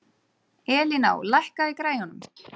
Elíná, lækkaðu í græjunum.